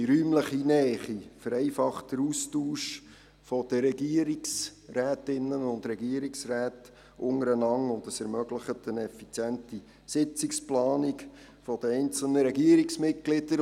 Die räumliche Nähe vereinfacht den Austausch der Regierungsrätinnen und Regierungsräte untereinander und ermöglicht eine effiziente Sitzungsplanung der einzelnen Regierungsmitglieder.